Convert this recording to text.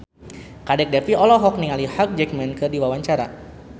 Kadek Devi olohok ningali Hugh Jackman keur diwawancara